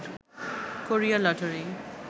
Korea lottery